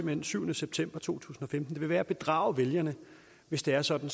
den syvende september to tusind og femten at det vil være at bedrage vælgerne hvis det er sådan